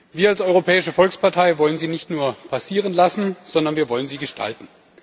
Wir als Europäische Volkspartei wollen sie nicht nur passieren lassen, sondern wir wollen sie gestalten.